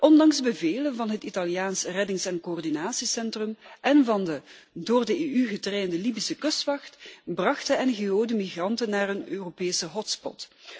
Ondanks bevelen van het Italiaanse reddings en coördinatiecentrum en van de door de EU getrainde Libische kustwacht bracht de ngo de migranten naar een Europese hotspot.